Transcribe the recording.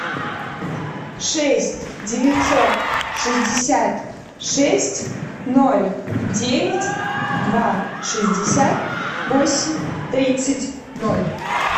шесть девятьсот шестьдесят шесть ноль девять два шестьдесят восемь тридцать ноль